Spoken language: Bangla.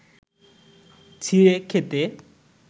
ছিঁড়ে খেতে